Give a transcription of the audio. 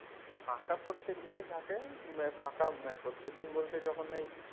ফাঁকা প্রত্যেক দিনই থাকে ফাঁকা প্রত্যেকদিন বলতে যখন ওই,